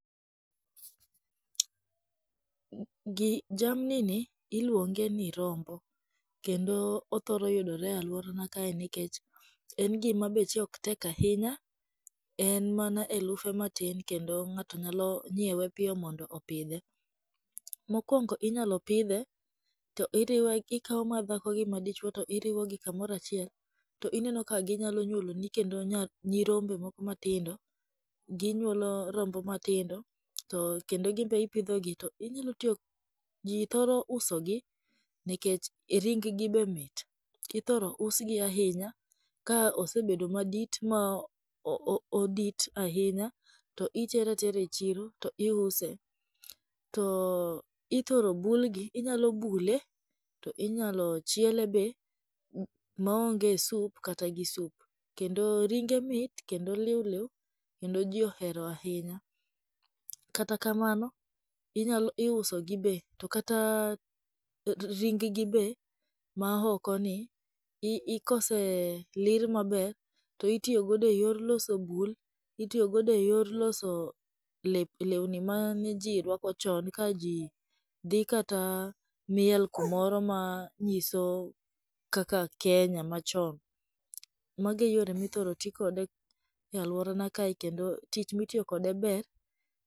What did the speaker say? Jamni ni iluonge ni rombo. Kendo othoro yudore e aluorana kae nikech en gima beche ok tek ahinya, en mana elufe matin kendo ng'ato nyalo nyiewe piyo mondo opidhe. Mokuongo inyalo pidhe to irwe ikawo madhako gi madichuo to iriwogi kamoro achiel to ineno ka ginyalo nyuoloni kendo nyirombe moko matindo. Ginyuolo rombo matindo to kendo gin be ipidho, to inyalo tiyo ji thoro usogi nikech ring gi be mit. Ithoro usgi ahinya ka osebedo madit ma odit ahinya to itere atera e chiro to iuse. To ithoro bulgi, inyalo bule, to inyalo chielebe maonge sup kata gi sup. Kendo ringe mit kendo liwliw kendo ji ohero ahinya kata kamano inya iusogi be to kata ring gi be ma okoni ka ose lir maber to itiyo godo eyor loso bul, itiyo godo eyor loso lep lewni mane ji rwako chon ka ji dhi kata miel kumoro manyiso kaka Kenya machon. Mago e yore ma ithoro ti kode e aluora na kae kendo tich ma itiyo kode ber.